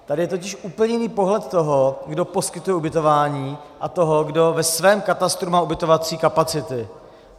Tady je totiž úplně jiný pohled toho, kdo poskytuje ubytování, a toho, kdo ve svém katastru má ubytovací kapacity.